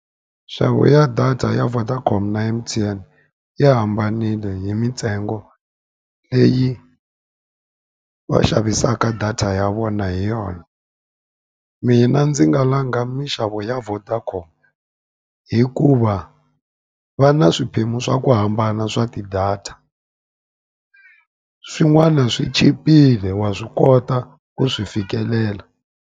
Nxavo ya data ya Vodacom na M_T_N ya hambanile hi mintsengo leyi va xavisaka data ya vona hi yona. Mina ndzi nga langa minxavo ya Vodacom hikuva, va na swiphemu swa ku hambana swa ti-data. Swin'wana swi chipile wa swi kota ku swi fikelela.